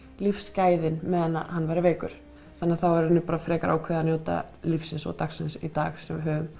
lífsgæðin meðan hann væri veikur þannig að þá var í rauninni bara frekar ákveðið að njóta lífsins og dagsins í dag sem við höfum